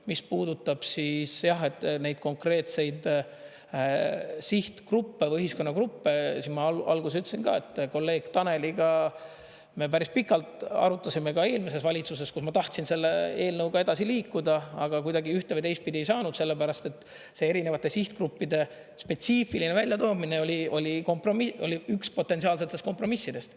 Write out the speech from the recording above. Mis puudutab siis, jah, neid konkreetseid sihtgruppe või ühiskonnagruppe, siis ma alguses ütlesin ka, et kolleeg Taneliga me päris pikalt arutasime ka eelmises valitsuses, kus ma tahtsin selle eelnõuga edasi liikuda, aga kuidagi ühte- või teistpidi ei saanud, sellepärast et see erinevate sihtgruppide spetsiifiline väljatoomine oli kompromiss, see oli üks potentsiaalsetest kompromissidest.